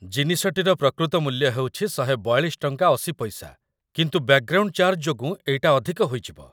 ଜିନିଷଟିର ପ୍ରକୃତ ମୂଲ୍ୟ ହେଉଛି ଟ.୧୪୨.୮୦ /-, କିନ୍ତୁ ବ୍ୟାକ୍‌ଗ୍ରାଉଣ୍ଡ ଚାର୍ଜ୍‌ ଯୋଗୁଁ ଏଇଟା ଅଧିକ ହୋଇଯିବ ।